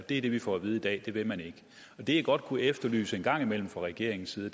det er det vi får at vide i dag det vil man ikke det jeg godt kunne efterlyse en gang imellem fra regeringens side